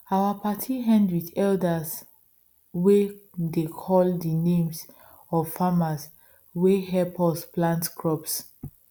our party end with elders way dey call the names of farmers way help us plant crops